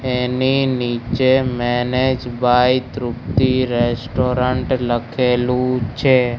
એની નીચે manage by Tripti restaurant લખેલુ છે.